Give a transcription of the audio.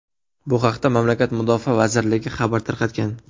Bu haqda mamlakat mudofaa vazirligi xabar tarqatgan .